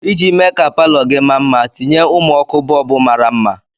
Iji mee ka palọ gị ma mma, tinye ụmụ ọkụ bọlbụ mara mma.